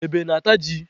Ebe na-ata ji.